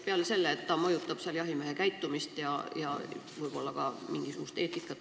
Peale selle, et koolitus mõjutab jahimehe käitumist ja võib-olla ka mingisugust eetikat.